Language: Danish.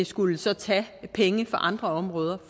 skulle tage tage penge fra andre områder